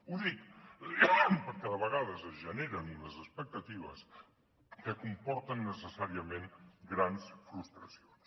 ho dic perquè de vegades es generen unes expectatives que comporten necessàriament grans frustracions